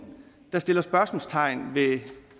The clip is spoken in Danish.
der sætter spørgsmålstegn ved